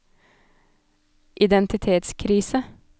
identitetskrise